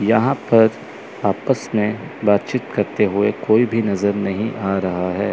यहां पर आपस में बातचीत करते हुए कोई भी नजर नहीं आ रहा है।